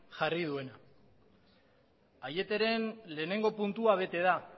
jarri duena aieteren lehenengo puntua bete da